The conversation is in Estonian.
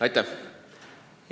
Aitäh!